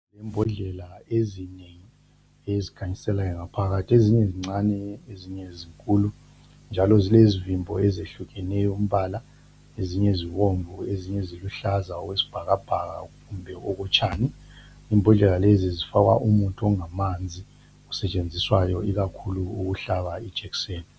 Imbodlela ezinengi ezikhanyiselayo ngaphakathi. Ezinye zincane, ezinye zinkulu njalo zilezivimbo ezehlukeneyo umbala. Ezinye zibomvu ezinye ziluhlaza okwesibhakabhaka kumbe okotshani. Imbodlela lezi zifakwa umuthi ongamanzi osentshenziswayo ikakhulu ukuhlaba ijekiseni.